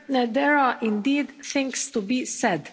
There are indeed things to be said.